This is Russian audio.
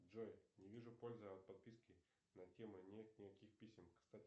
джой не вижу пользы от подписки на тему нет никаких писем кстати